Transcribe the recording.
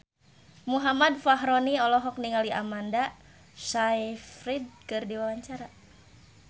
Muhammad Fachroni olohok ningali Amanda Sayfried keur diwawancara